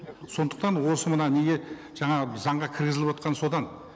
сондықтан осы мына неге жаңағы заңға кіргізіліп отырғаны содан